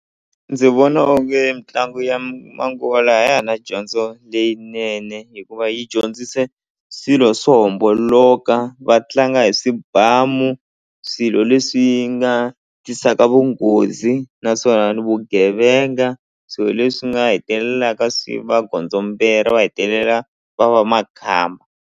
Ndzi vona onge mitlangu ya manguva lawa a ya ha rina dyondzo leyinene hikuva yi dyondzise swilo swo homboloka va tlanga hi swibamu swilo leswi nga tisaka vunghozi naswona ni vugevenga swilo leswi nga hetelelaka swi va gondzombera va hetelela va va makhamba.